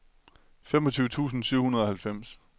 femogtyve tusind syv hundrede og halvfems